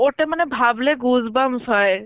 ওটা মানে ভাবলে goosebumps হয়